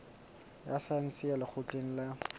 ya saense ya lekgotleng la